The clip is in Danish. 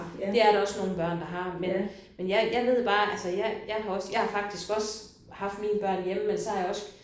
Det er der også nogle børn der har. Men men jeg jeg ved bare altså jeg jeg har også altså jeg har faktisk også haft mine børn hjemme men så har jeg også